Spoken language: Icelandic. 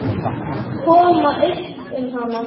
Koma upp um hana?